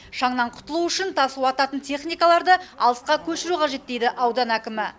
шаңнан құтылу үшін тас уататын техникаларды алысқа көшіру қажет дейді аудан әкімі